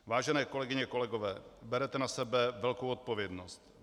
Vážené kolegyně, kolegové, berete na sebe velkou odpovědnost.